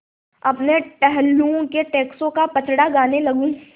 अपने टहलुओं के टैक्सों का पचड़ा गाने लगूँ